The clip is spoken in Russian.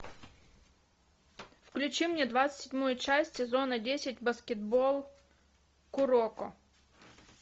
включи мне двадцать седьмую часть сезона десять баскетбол куроко